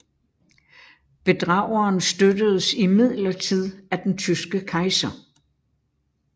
Bedrageren støttedes imidlertid af den tyske kejser